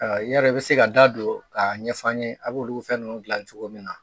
Ɔ i y'a dɔn i bɛ se ka da don k'a ɲɛfɔ an ye a' b'olu fɛn ninnu dilan cogo min na